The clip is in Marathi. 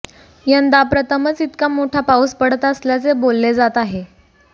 यंदा प्रथमच इतका मोठा पाऊस पडत असल्याचे बोलले जात आहे